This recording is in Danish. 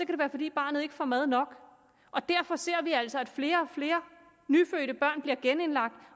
det være fordi barnet ikke får mad nok derfor ser vi altså at flere og flere nyfødte børn bliver genindlagt